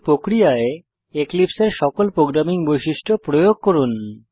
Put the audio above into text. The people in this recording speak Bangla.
এই প্রক্রিয়ায় এক্লিপসে এর সকল প্রোগ্রামিং বৈশিষ্ট্য প্রয়োগ করুন